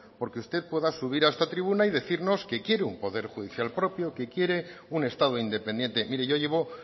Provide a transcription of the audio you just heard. porque usted pueda subir a esta tribuna y decirnos que quiere un poder judicial propio que quiere un estado independiente mire yo llevo